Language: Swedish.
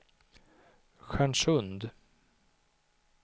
Stjärnsund